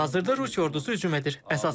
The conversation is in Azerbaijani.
Hazırda Rusiya ordusu hücum edir.